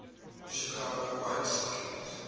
chicago white stockings